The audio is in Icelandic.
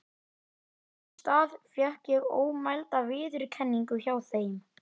Haukur Ingi Guðnason Besta íslenska knattspyrnukonan fyrr og síðar?